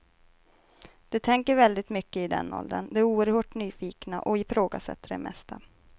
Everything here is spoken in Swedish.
De tänker väldigt mycket i den åldern, de är oerhört nyfikna och ifrågasätter det mesta.